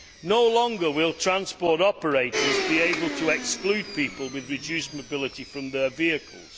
No longer will transport operators be able to exclude people with reduced mobility from their vehicles